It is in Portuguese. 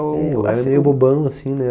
assim é bobão, assim, né?